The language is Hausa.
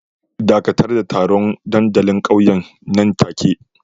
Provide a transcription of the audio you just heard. Dakatar da taron dandalin ƙauyen nan take